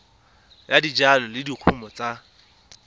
ya dijalo le dikumo tsa